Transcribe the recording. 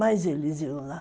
Mas eles iam lá.